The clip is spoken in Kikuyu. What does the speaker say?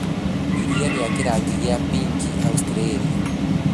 Iria rĩa kĩrangi gĩa pink Australia